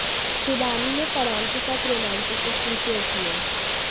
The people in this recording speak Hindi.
शिबानी ने फरहान के साथ रोमांटिक तस्वीर शेयर की है